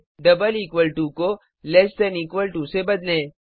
double equal to को less than equal to से बदलें